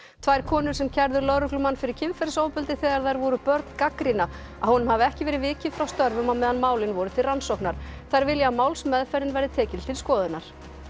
tvær konur sem kærðu lögreglumann fyrir kynferðisofbeldi þegar þær voru börn gagnrýna að honum hafi ekki verið vikið frá störfum á meðan málin voru til rannsóknar þær vilja að málsmeðferðin verði tekin til skoðunar